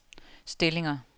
stillinger